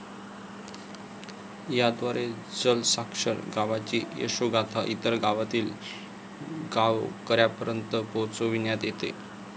याद्वारे जलसाक्षर गावांची यशोगाथा इतर गावातील गावकऱ्यांपर्यंत पोहोचविण्यात येते.